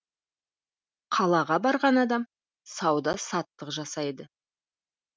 қалаға барған адам сауда саттық жасайды